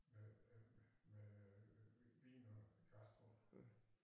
Med øh med Vin og Gastro